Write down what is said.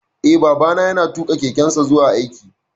Eh, Babana ya na tuƙa kekensa zuwa aiki